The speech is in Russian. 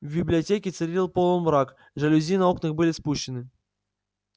в библиотеке царил полумрак жалюзи на окнах были спущены